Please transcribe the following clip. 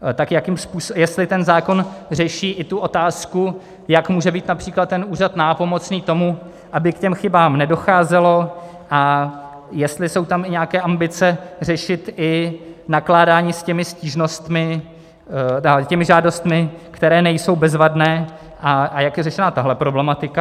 Jestli ten zákon řeší i tu otázku, jak může být například ten úřad nápomocný tomu, aby k těm chybám nedocházelo, a jestli jsou tam i nějaké ambice řešit i nakládání s těmi žádostmi, které nejsou bezvadné, a jak je řešena tato problematika.